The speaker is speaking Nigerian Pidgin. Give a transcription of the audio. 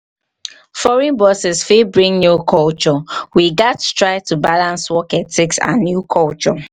foreign bosses fit bring new culture. we gats try to balance work ethics and new culture.